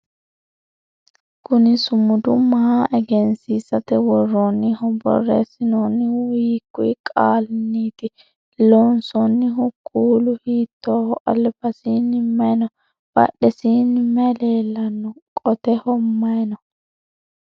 kuni sumudu maa egensiisate worroonniho? borreessinoonnihu hiikuyi qaalinniiti? loonsoonnihu kuulu hiittooho? albasiini maye no? badhesiinni maye leellanno? qotehho maye no?